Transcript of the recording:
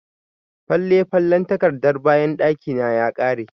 Fale-falen takardan bayan gidana ya ƙare.